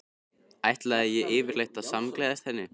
Ætlaði ég yfirleitt að samgleðjast henni?